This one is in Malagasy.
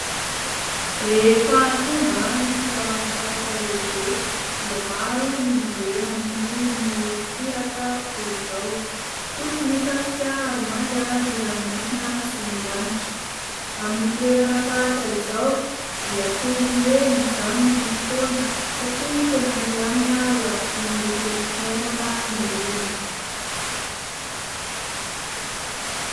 Rehefa tonga ny fialan-tsasatra lehibe dia maro ny mandeha mamonjy morontsiraka toy izao. Fotsy ny fasika ary manga ny ranomasina sy ny lanitra. Amin'ny toerana tahaka izao dia toy ny hoe mijanona ny fotoana satria tena milamina, lavitry ny rotorotom-piainana ny olona.